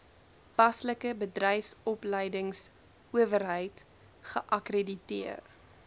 paslike bedryfsopleidingsowerheid geakkrediteer